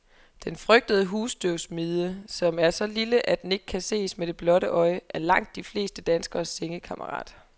Den frygtede husstøvmide, som er så lille, at den ikke kan ses med det blotte øje, er langt de fleste danskeres sengekammerat.